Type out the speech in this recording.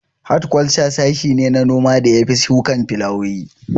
Hatkwalca sashe ne na noma da ya shafi shukan filawowi